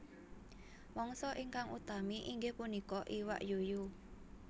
Mangsa ingkang utami inggih punika iwak yuyu